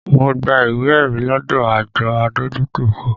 Mo gba ìwé ẹ̀rí lọdọ àjọ adójútòfò